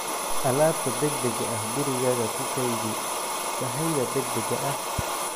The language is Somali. alaabta degdega ah Gurigaaga ku kaydi sahayda degdega ah.